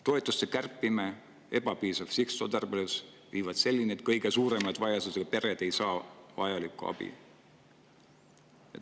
Toetuste kärpimine ja ebapiisav sihtotstarbelisus viivad selleni, et kõige suuremate vajadustega pered ei saa vajalikku abi.